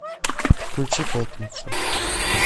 включи пятницу